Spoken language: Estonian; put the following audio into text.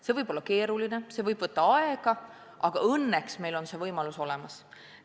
See võib olla keeruline, see võib võtta aega, aga õnneks on meil see võimalus olemas.